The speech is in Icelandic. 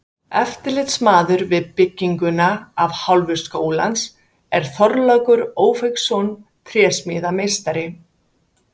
Eftirlitsmaður við bygginguna af hálfu háskólans er Þorlákur Ófeigsson trésmíðameistari.